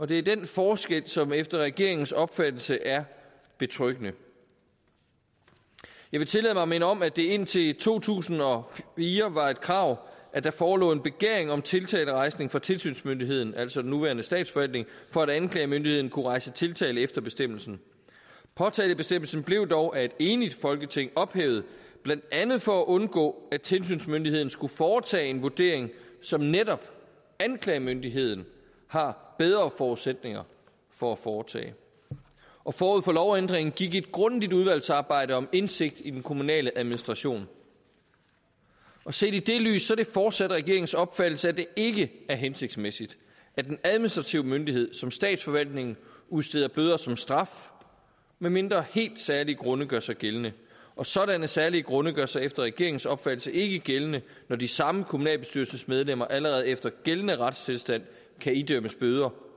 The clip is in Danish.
det er den forskel som efter regeringens opfattelse er betryggende jeg vil tillade mig at minde om at det indtil to tusind og fire var et krav at der forelå en begæring om tiltalerejsning fra tilsynsmyndigheden altså den nuværende statsforvaltning for at anklagemyndigheden kunne rejse tiltale efter bestemmelsen påtalebestemmelsen blev dog af et enigt folketing ophævet blandt andet for at undgå at tilsynsmyndigheden skulle foretage en vurdering som netop anklagemyndigheden har bedre forudsætninger for at foretage forud for lovændringen gik et grundigt udvalgsarbejde om indsigt i den kommunale administration set i det lys er det fortsat regeringens opfattelse at det ikke er hensigtsmæssigt at en administrativ myndighed som statsforvaltningen udsteder bøder som straf medmindre helt særlige grunde gør sig gældende og sådanne særlige grunde gør sig efter regeringens opfattelse ikke gældende når de samme kommunalbestyrelsesmedlemmer allerede efter gældende retstilstand kan idømmes bøder